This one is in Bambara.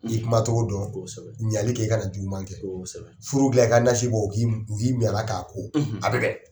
N'i y'i kumacogo dɔn, kosɛbɛ ,ɲanli kɛ i kana na jugu man kɛ furu dilan, u k'i mun k'i min a la a bɛ bɛn!